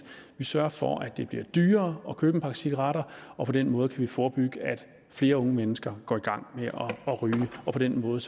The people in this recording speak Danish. vi sørger for at det bliver dyrere at købe en pakke cigaretter på den måde kan vi forebygge at flere unge mennesker går i gang med at ryge og på den måde